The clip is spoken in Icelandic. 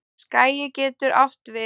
Skagi getur átt við